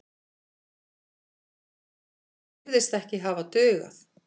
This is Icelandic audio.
Það virðist ekki hafa dugað.